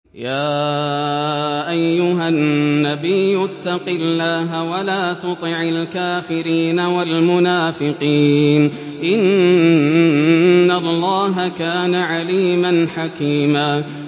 يَا أَيُّهَا النَّبِيُّ اتَّقِ اللَّهَ وَلَا تُطِعِ الْكَافِرِينَ وَالْمُنَافِقِينَ ۗ إِنَّ اللَّهَ كَانَ عَلِيمًا حَكِيمًا